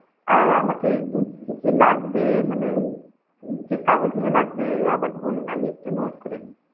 আ আমাকে কি কি লাগবে মানে যে কাগজগুলো লাগবে আবার বলুন আমি একটু note করে নি.